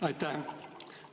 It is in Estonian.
Aitäh!